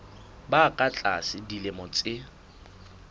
ba ka tlasa dilemo tse